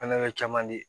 An na caman de